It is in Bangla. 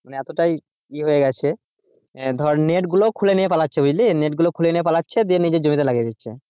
মানে এতটাই ইয়ে হয়েগেছে ধরে net গুলো খুলে নিয়ে পালাচ্ছে বুঝলি net গুলো খুলে নিয়ে পালাচ্ছে দিয়ে নিজের জমি তে লাগিয়ে নিচ্ছে।